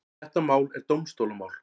Þetta mál er dómstólamál.